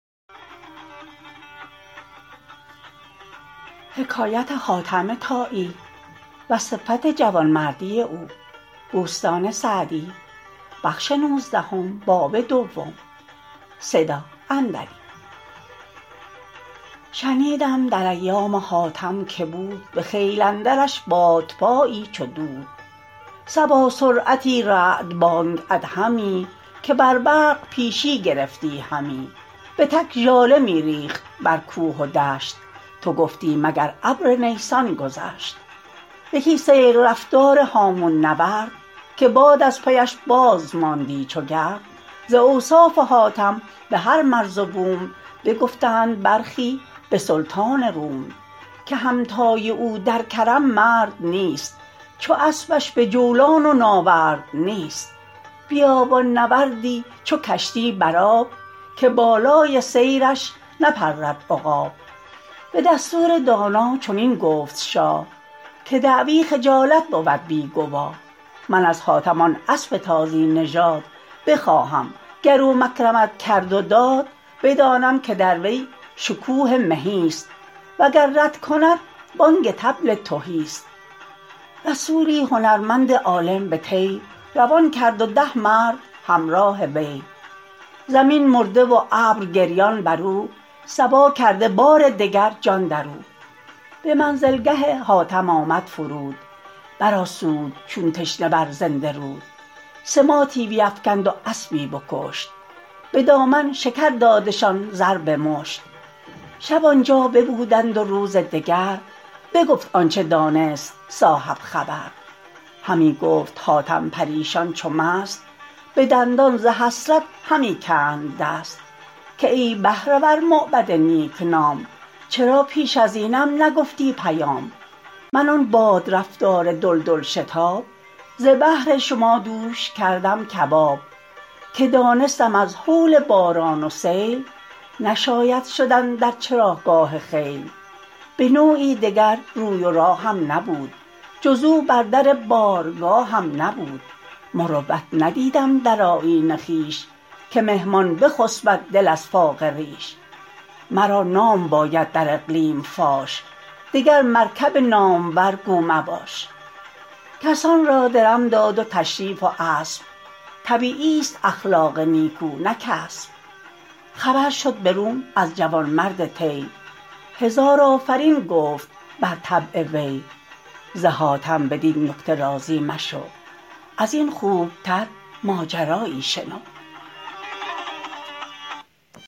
شنیدم در ایام حاتم که بود به خیل اندرش بادپایی چو دود صبا سرعتی رعد بانگ ادهمی که بر برق پیشی گرفتی همی به تک ژاله می ریخت بر کوه و دشت تو گفتی مگر ابر نیسان گذشت یکی سیل رفتار هامون نورد که باد از پی اش باز ماندی چو گرد ز اوصاف حاتم به هر مرز و بوم بگفتند برخی به سلطان روم که همتای او در کرم مرد نیست چو اسبش به جولان و ناورد نیست بیابان نورد ی چو کشتی بر آب که بالای سیرش نپرد عقاب به دستور دانا چنین گفت شاه که دعوی خجالت بود بی گواه من از حاتم آن اسب تازی نژاد بخواهم گر او مکرمت کرد و داد بدانم که در وی شکوه مهی ست وگر رد کند بانگ طبل تهی ست رسولی هنرمند عالم به طی روان کرد و ده مرد همراه وی زمین مرده و ابر گریان بر او صبا کرده بار دگر جان در او به منزل گه حاتم آمد فرود بر آسود چون تشنه بر زنده رود سماطی بیفکند و اسبی بکشت به دامن شکر دادشان زر به مشت شب آن جا ببودند و روز دگر بگفت آنچه دانست صاحب خبر همی گفت حاتم پریشان چو مست به دندان ز حسرت همی کند دست که ای بهره ور موبد نیک نام چرا پیش از اینم نگفتی پیام من آن باد رفتار دلدل شتاب ز بهر شما دوش کردم کباب که دانستم از هول باران و سیل نشاید شدن در چراگاه خیل به نوعی دگر روی و راهم نبود جز او بر در بارگاهم نبود مروت ندیدم در آیین خویش که مهمان بخسبد دل از فاقه ریش مرا نام باید در اقلیم فاش دگر مرکب نامور گو مباش کسان را درم داد و تشریف و اسب طبیعی ست اخلاق نیکو نه کسب خبر شد به روم از جوانمرد طی هزار آفرین گفت بر طبع وی ز حاتم بدین نکته راضی مشو از این خوب تر ماجرا یی شنو